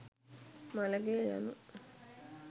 මළගෙය යනු